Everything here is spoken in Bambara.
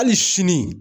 Hali sini